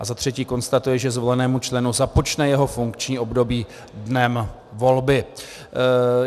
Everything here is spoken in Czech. A za třetí konstatuje, že zvolenému členu započne jeho funkční období dnem volby.